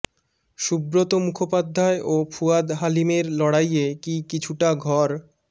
সুব্রত মুখোপাধ্য়ায় ও ফুয়াদ হালিমের লড়াইয়ে কি কিছুটা ঘর